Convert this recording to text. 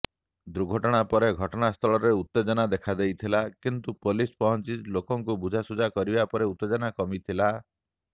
ଦୁର୍ଘଟଣା ପରେ ଘଟଣାସ୍ଥଳରେ ଉତ୍ତେଜନା ଦେଖାଦେଇଥିଲା କିନ୍ତୁ ପୋଲିସ ପହଞ୍ଚି ଲୋକଙ୍କୁ ବୁଝାସୁଝା କରିବା ପରେ ଉତ୍ତେଜନା କମିଥିଲା